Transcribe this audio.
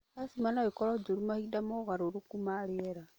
Acima no ĩkorwo njũru mahinda mogarũrũku ma rĩera